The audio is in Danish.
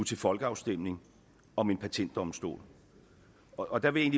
til folkeafstemning om en patentdomstol og der vil jeg